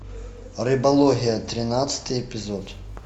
рыбология тринадцатый эпизод